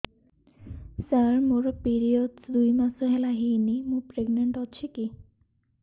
ସାର ମୋର ପିରୀଅଡ଼ସ ଦୁଇ ମାସ ହେଲା ହେଇନି ମୁ ପ୍ରେଗନାଂଟ ଅଛି କି